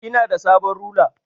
Ina da sabon rula.